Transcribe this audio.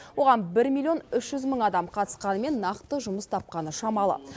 оған бір миллион үш жүз мың адам қатысқанымен нақты жұмыс тапқаны шамалы